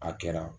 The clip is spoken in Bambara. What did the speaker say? A kɛra